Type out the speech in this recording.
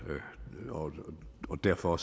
og derfor